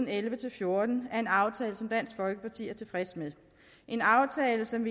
elleve til fjorten er en aftale som dansk folkeparti er tilfreds med en aftale som